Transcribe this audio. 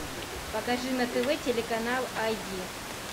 покажи на тв телеканал ай ди